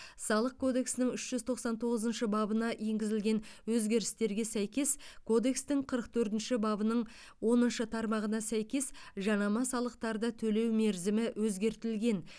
салық кодексінің үш жүз тоқсан тоғызыншы бабына енгізілген өзгерістерге сәйкес кодекстің қырық төртінші бабының оныншы тармағына сәйкес жанама салықтарды төлеу мерзімі өзгертілген